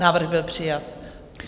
Návrh byl přijat.